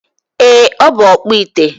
Ee, Ọ bụ ọkpụite.